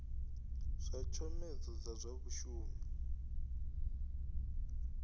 zwa tshomedzo dza zwa vhashumi